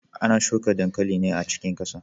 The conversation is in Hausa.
Ana shuka dankali ne a cikin kasa.